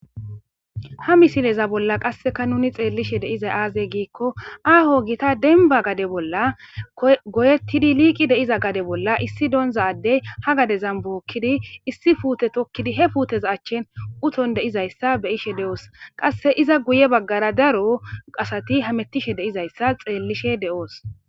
ha misileza bolla qasseka nuni xeellishe deiza aazey giikko aaho gita denba gade bolla goyettidi liiqi deiza gade bolla issi doonza ddey ha gadezan bookkidi issi puute tokkidi he puteza achchin uton deizayssa beyishe de7oos qasse iza guye baggara daro qasati hamettishe deizayssa xeellishe de7oos